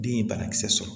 Den ye banakisɛ sɔrɔ